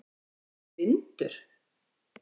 Ertu blindur!?